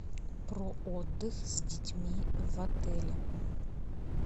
про отдых с детьми в отеле